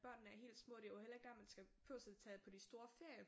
Børnene er helt små det er jo heller ikke der man skal behøver at tage på de store ferier